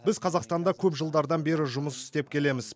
біз қазақстанда көп жылдардан бері жұмыс істеп келеміз